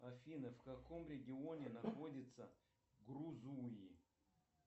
афина в каком регионе находится грузуи